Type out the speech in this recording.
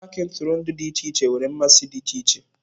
paaki ntụrụndụ dị iche iche nwere mmasị dị iche iche.